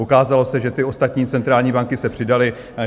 Ukázalo se, že ty ostatní centrální banky se přidaly.